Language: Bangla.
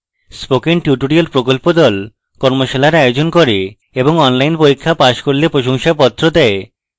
spoken tutorial প্রকল্প the কর্মশালার আয়োজন করে এবং online পরীক্ষা pass করলে প্রশংসাপত্র দেয়